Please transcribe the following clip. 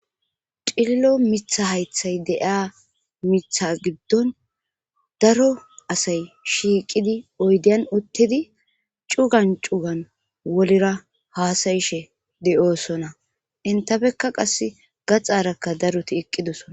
Cillo mitha haythay deiya mitha giddon daro asay shiiqidi oydeyan uttidi cugan cugan wolira haasayishe de7oosona intabekka qasse gaxarakka daruti eqqidosona